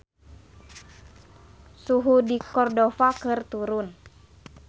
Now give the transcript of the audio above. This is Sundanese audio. Suhu di Cordova keur turun